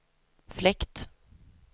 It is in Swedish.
fläkt